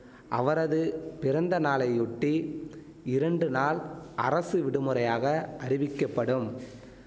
அவரது பிறந்த நாளையொட்டி இரண்டு நாள் அரசு விடுமுறையாக அறிவிக்கப்படும்